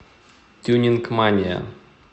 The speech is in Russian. тюнинг мания